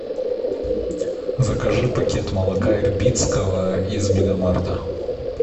закажи пакет молока ирбитского из мегамарта